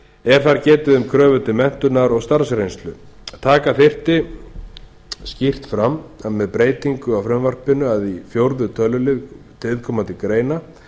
er þar getið um kröfur til menntunar og starfsreynslu taka þyrfti þá skýrt fram með breytingu á frumvarpinu að í fjórða tölulið viðkomandi greina